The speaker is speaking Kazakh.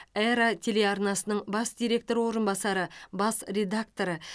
эра телеарнасының бас директоры орынбасары бас редакторы